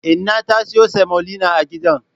Inna ta siyo semolina a gidan.